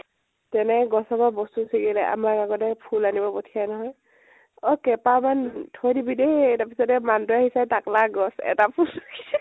এনেকে গছৰ পৰা বস্তু চিগিলে, আমাৰ আগতে ফুল আনিব পঠিয়াই নহয়, অʼ কেইপাহ মান থৈ দিবি দেই, তাৰ পিছতে মানুহ তো আহিছে, তাকলা গছ এটা ফুল কে